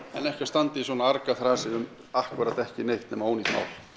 en ekki að standa í svona argaþrasi um ekki neitt nema ónýtt mál